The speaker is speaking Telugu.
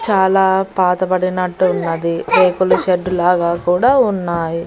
చాలా పాతబడినట్టు ఉన్నది రేకుల షెడ్డు లాగా కూడా ఉన్నాయి.